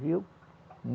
Viu?